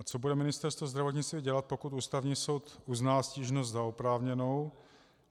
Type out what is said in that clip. A co bude Ministerstvo zdravotnictví dělat, pokud Ústavní soud uzná stížnost za oprávněnou?